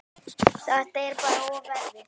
Þetta er bara of erfitt.